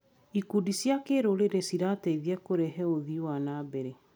Ikundi cia kĩrũrĩrĩ cirateithia kũrehe ũthii wa na mbere.